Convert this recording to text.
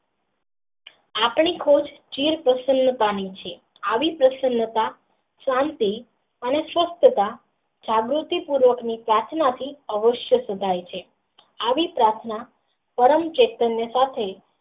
આપમી ખોજ જીવ પ્રસન્તા ની છે આવી પ્રશાંતતા શાંતિ અને જાગ્રતિ પૂર્વક ની કહી શકાય છે આવી પ્રાર્થના પ્રેમ ચિતં ની સાથે.